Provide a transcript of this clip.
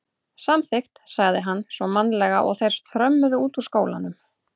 Samþykkt sagði hann svo mannalega og þeir þrömmuðu út úr skólanum.